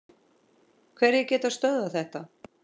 Hverjir geta stöðvað þetta?